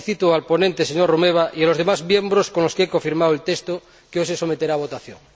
Felicito al ponente, señor Romeva, y a los demás miembros con los que he cofirmado el texto que hoy se someterá a votación.